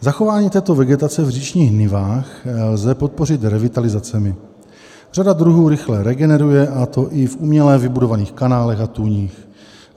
Zachování této vegetace v říčních nivách lze podpořit revitalizacemi; řada druhů rychle regeneruje, a to i v uměle vybudovaných kanálech a tůních.